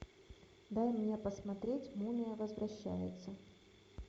дай мне посмотреть мумия возвращается